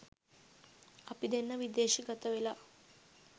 අපි දෙන්න විදේශගතවෙලා